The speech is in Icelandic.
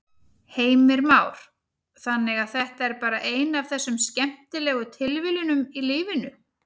Heimir Már: Þannig að þetta er bara ein af þessum skemmtilegu tilviljunum í lífinu?